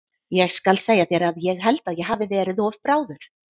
Ég skal segja þér að ég held að ég hafi verið of bráður.